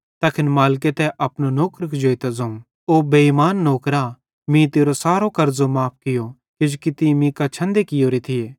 तैखन मालिके तै अपने नौकर कुजेइतां ज़ोवं ओ बेइमान नौकरा मीं तेरो सारो कर्ज़ो माफ़ कियो किजोकि तीं मीं कां छंदे कियोरे थिये